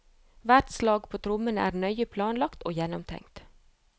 Hvert slag på trommene er nøye planlagt og gjennomtenkt.